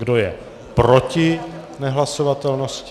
Kdo je proti nehlasovatelnosti?